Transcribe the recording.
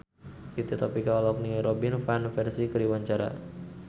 Fitri Tropika olohok ningali Robin Van Persie keur diwawancara